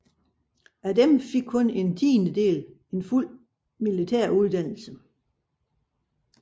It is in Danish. Heraf fik kun en tiendedel en fuld militær uddannelse